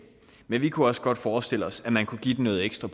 men vi kunne også godt forestille os at man kunne give dem noget ekstra